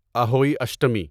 Ahoi Ashtami